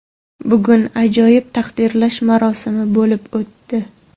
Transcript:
Bugun ajoyib taqdirlash marosimi bo‘lib o‘tdi.